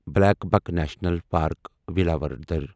Blackbuck national park Velavadar